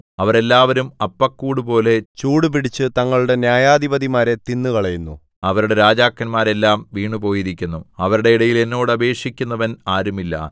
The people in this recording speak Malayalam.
അവരെല്ലാം അപ്പക്കൂടുപോലെ ചൂടുപിടിച്ച് തങ്ങളുടെ ന്യായാധിപതിമാരെ തിന്നുകളയുന്നു അവരുടെ രാജാക്കന്മാർ എല്ലാം വീണുപോയിരിക്കുന്നു അവരുടെ ഇടയിൽ എന്നോട് അപേക്ഷിക്കുന്നവൻ ആരുമില്ല